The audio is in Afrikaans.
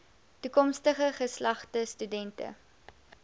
toekomstige geslagte studente